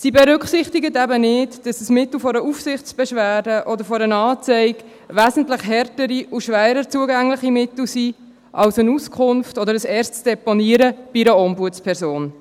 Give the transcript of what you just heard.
Sie berücksichtigt eben nicht, dass eine Aufsichtsbeschwerde oder eine Anzeige wesentlich härtere oder schwerer zugängliche Mittel sind als eine Auskunft oder ein erstes Deponieren bei einer Ombudsperson.